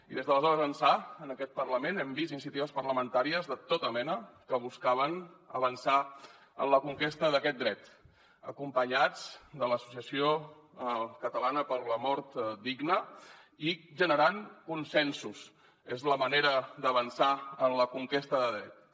i des d’aleshores ençà en aquest parlament hem vist iniciatives parlamentàries de tota mena que buscaven avançar en la conquesta d’aquest dret acompanyats de l’associació catalana per la mort digna i generant consensos és la manera d’avançar en la conquesta de drets